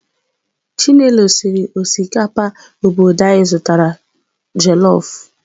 Chinelo siri osikapa obodo anyị zụtara jelọf